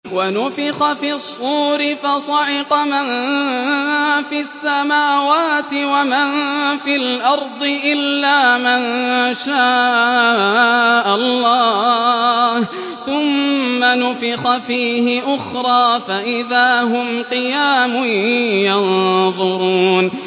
وَنُفِخَ فِي الصُّورِ فَصَعِقَ مَن فِي السَّمَاوَاتِ وَمَن فِي الْأَرْضِ إِلَّا مَن شَاءَ اللَّهُ ۖ ثُمَّ نُفِخَ فِيهِ أُخْرَىٰ فَإِذَا هُمْ قِيَامٌ يَنظُرُونَ